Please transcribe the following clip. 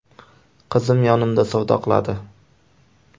Qizim yonimda savdo qiladi.